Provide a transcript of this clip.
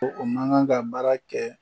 Ko o man kan ka baara kɛ